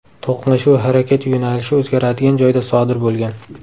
To‘qnashuv harakat yo‘nalishi o‘zgaradigan joyda sodir bo‘lgan.